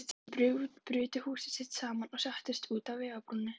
Þau brutu húsið sitt saman og settust út á vegarbrún.